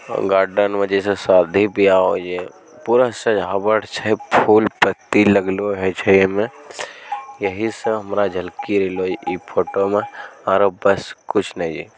Garden में जैसे शादी-बियाह होइ छै। पूरा सजावट छई फूल-पत्ती लगलों है छै आईम। यहीं से हमरा झलकी रहलो छै इ फोटो में और बस कुछ ने छै।